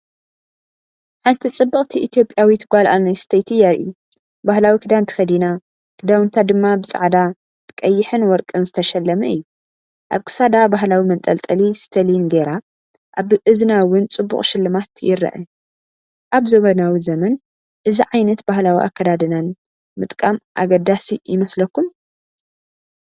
ሓንቲ ጽብቕቲ ኢትዮጵያዊት ጓል ኣንስተይቲ የርኢ። ባህላዊ ክዳን ተኸዲና፣ ክዳውንታ ድማ ብጻዕዳ፣ ብቀይሕን ወርቅን ዝተሸለመ እዩ። ኣብ ክሳዳ ባህላዊ መንጠልጠሊ ስተሊን ገየራ፡ ኣብ እዝና እውን ጽቡቕ ሽልማት ይርአ። ኣብ ዘመናዊ ዘመን እዚ ዓይነት ባህላዊ ኣከዳድናን ምጥቃም ኣገዳሲ ይመስለኩም?